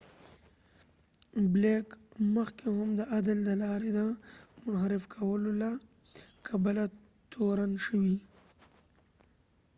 بلیک مخکی هم د عدل د لارې د منحرف کولو له کبله تورن شوی